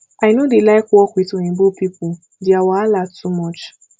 i no dey like work with oyinbo people dia wahala too much